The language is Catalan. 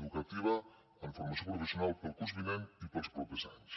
educativa en formació professional per al curs vinent i per als propers anys